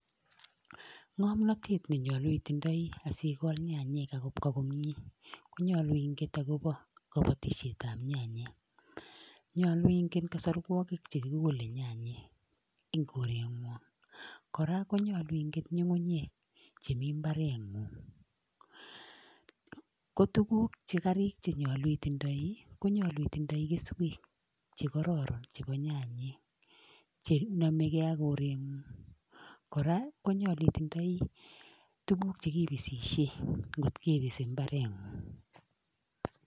Ng'omnotet nenyolu itindoi asikol nyanyek akobwa komie konyolu inget akopo kabatishetap nyanyek. Nyolu ingen kasarwokik chekikole nyanyek eng koreng'wong kora konyolu ingen nying'unyek chemi mbareng'ung. Ko tuguk che karik chenyolu itindoi ko nyolu itindoi keswek chekororon chepo nyanyek chenomegei ak koreng'ung kora konyolu itindoi tuguk chekipisishe nkot kipisi mbareng'ung.